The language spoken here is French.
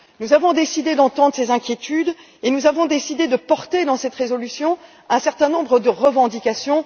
Nous avons décidé d'entendre ces inquiétudes et de porter, dans cette résolution, un certain nombre de revendications.